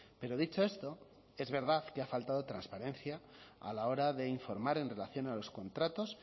pero dicho esto es verdad que ha faltado transparencia a la hora de informar en relación a los contratos